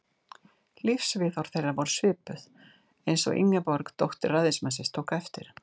Lífsviðhorf þeirra voru svipuð, eins og Ingeborg, dóttir ræðismannsins, tók eftir.